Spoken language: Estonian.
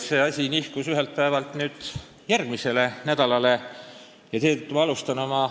See asi on nihkunud järgmisele nädalale, eelmise nädala neljapäevalt tänasele.